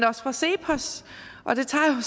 også fra cepos og det tager